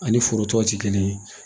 A ni forotɔw tɛ kelen ye